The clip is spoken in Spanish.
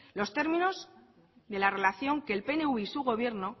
los términos de la relación que el pnv y su gobierno